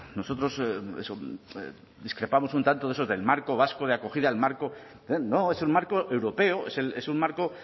nosotros eso discrepamos un tanto de eso del marco vasco de acogida el marco no es el marco europeo es un marco